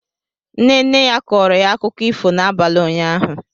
Nne nne ya kọọrọ ya akụkọ ifo n'abalị ụnyahụ